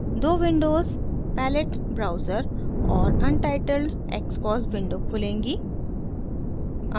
दो windows palette browser और untitled xcos window खुलेंगी